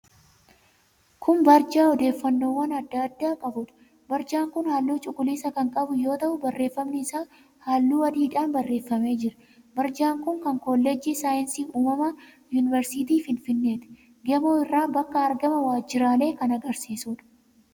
Kun barjaa odeeffannoowwan addaa addaa qabuudha. Barjaan kun halluu cuquliisa kan qabu yoo ta'u, barreeffamni isaa halluu adiidhaan barreeffamee jira. Barjaan kun kan kolleejjii saayinsii uumamaa Yuunivarsiitii Finfinneeti. Gamoo irraa bakka argama waajjiraalee kan agarsiisuudha.